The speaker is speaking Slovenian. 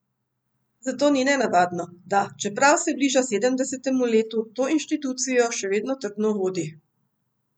Zato ni nenavadno, da, čeprav se bliža sedemdesetemu letu, to inštitucijo še vedno trdno vodi.